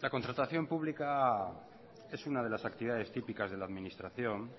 la contratación pública es una de las actividades típicas de la administración